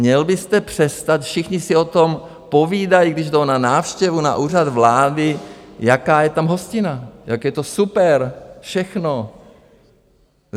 Měl byste přestat - všichni si o tom povídají, když jdou na návštěvu na Úřad vlády, jaká je tam hostina, jak je to super všechno.